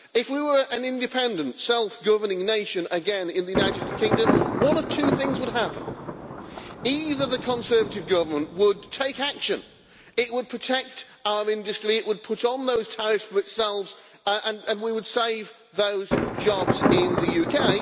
If we were an independent, self governing nation again in the United Kingdom, one of two things would happen either the Conservative Government would take action, it would protect our industry, it would put on those tariffs for itself and we would save those jobs in the UK.